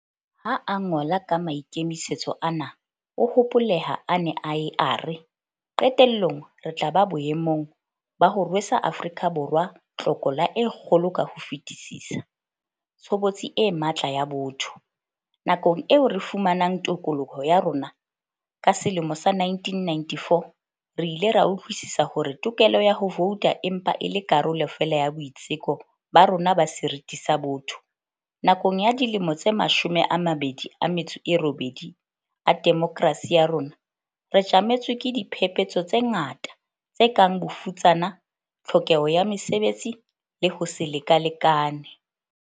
Ha a ngola ka maikemisetso ana, o hopoleha a ne a ye a re, "Qetellong re tla ba boemong ba ho rwesa Afrika Borwa tlokola e kgolo ka ho fetisisa - tshobotsi e matla ya botho." Nakong eo re fumanang tokoloho ya rona ka selemo sa 1994, re ile ra utlwisisa hore tokelo ya ho vouta e mpa e le karolo feela ya boitseko ba rona ba seriti sa botho. Nakong ya dilemo tse mashome a mabedi a metso e robedi a demokrasi ya rona, re tjametswe ke diphephetso tse ngata, tse kang bofutsana, tlhokeho ya mesebetsi le ho se lekalekane.